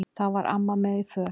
Þá var amma með í för.